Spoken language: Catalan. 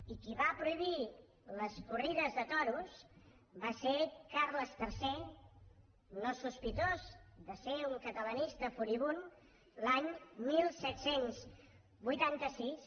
i qui va prohibir les corrides de toros va ser carles iii no sospitós de ser un catalanista furibund l’any disset vuitanta sis